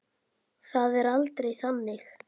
Það er aldrei þannig.